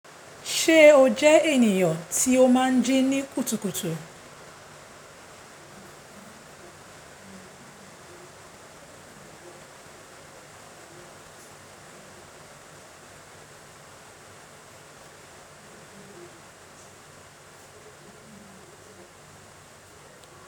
Ṣé o jẹ ènìyàn tí ó máa ń jí ní kùtùkùtù?